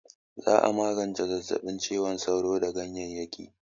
Za'a iya magance zazzaɓin cizon sauro da ganyeyyaki